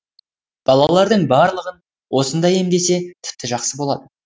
балалардың барлығын осында емдесе тіпті жақсы болды